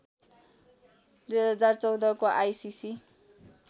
२०१४ को आइसिसी